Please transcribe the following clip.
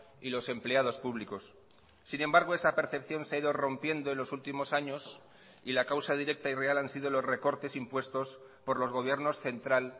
y los empleados públicos sin embargo esa percepción se ha ido rompiendo en los últimos años y la causa directa y real han sido los recortes impuestos por los gobiernos central